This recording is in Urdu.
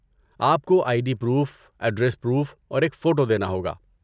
آپ کو I D proof, address proof اور ایک فوٹو دینا ہوگا۔